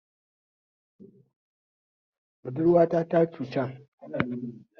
Budurwata ta cuceni